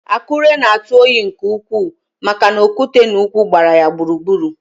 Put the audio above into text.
Akure na-atụ oyi nke ukwuu maka na okwute na ugwu gbara ya gburugburu